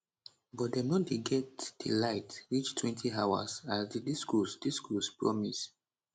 but dem no dey get di light reachtwentyhours as di discos discos promise